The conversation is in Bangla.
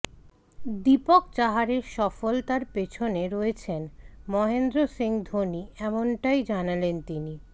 দীপক চাহারের সফলতার পেছনে রয়েছেন মহেন্দ্র সিং ধোনি এমনটাই জানালেন তিনি